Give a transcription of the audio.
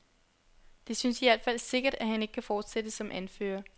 Det synes i hvert fald sikkert, at han ikke kan fortsætte som anfører.